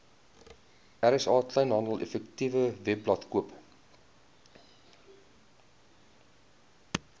rsa kleinhandeleffektewebblad koop